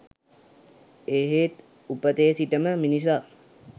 එහෙත් උපතේ සිට ම මිනිසා